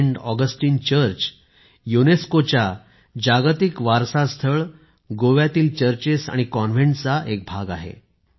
Saint Augustine church युनेस्कोच्या जागतिक वारसा स्थळ गोव्याचे चर्चेस आणि कॉन्व्हेंट चा एक भाग आहे